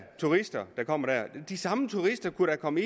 turister der kommer de samme turister kunne da komme